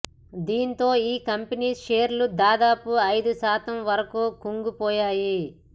దీంతో ఈ కంపెనీ షేర్లు దాదాపు ఐదుశాతం వరకు కుంగిపోయాయి